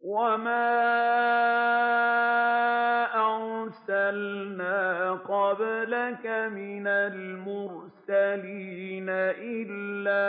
وَمَا أَرْسَلْنَا قَبْلَكَ مِنَ الْمُرْسَلِينَ إِلَّا